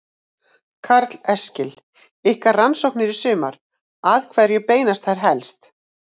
Karl Eskil: Ykkar rannsóknir í sumar, að hverju beinast þær helst?